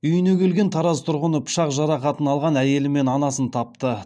үйіне келген тараз тұрғыны пышақ жарақатын алған әйелі мен анасын тапты